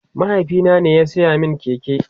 mahaifina ne ya saya min keke